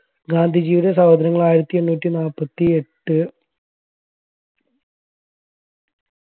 ഗാന്ധിജിയുടെ സഹോദരങ്ങൾ ആയിരത്തി എണ്ണൂറ്റി നാൽപ്പത്തി എട്ട്